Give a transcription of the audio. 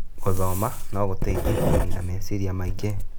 Gũthoma no gũteithie kũnin meciria maingĩ.